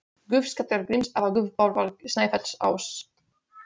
Guð Skalla-Gríms, eða guð Bárðar Snæfellsáss?